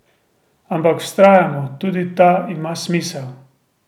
Ampak, vztrajamo, tudi ta ima smisel.